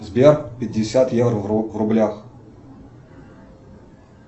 сбер пятьдесят евро в рублях